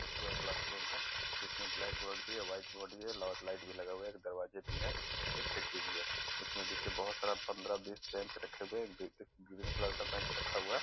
बच्चों का क्लास-रूम हैं जिसमें ब्लैक बोर्ड भी हैं व्हाइट बोर्ड भी हैं लोट लाइट भी लगा हुआ हैं दरवाज़े भी है खिड़की भी है इसमें देखिये बहुत सारे पन्द्र बीस बेंच रखे हुए हैं ग्रीन कलर का बेंच रखा हुआ है।